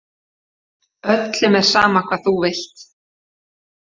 Öllum er sama hvað þú vilt.